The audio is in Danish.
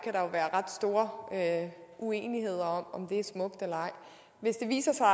ret store uenigheder om om det er smukt eller ej hvis det viser sig